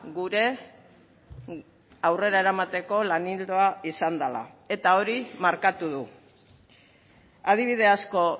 gure aurrera eramateko lan ildoa izan dela eta hori markatu du adibide asko